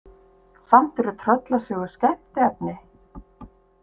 Samt eru tröllasögur skemmtiefni.